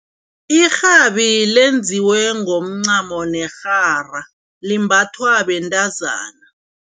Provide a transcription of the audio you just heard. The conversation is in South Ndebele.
Irhabi lenziwe ngomncamo nerhara limbathwa bentazana.